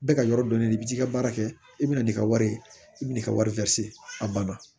Bɛɛ ka yɔrɔ dɔnnen do i bi t'i ka baara kɛ i bɛna n'i ka wari i bɛna'i ka wari a banna